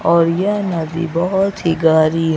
और यह नदी बहोत ही गहरी--